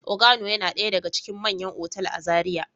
Organo yana daya daga cikin manyan otal a Zaria.